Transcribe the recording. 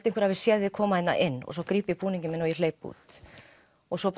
einhver hafi séð þig koma inn og svo gríp ég búninginn minn og hleyp út og svo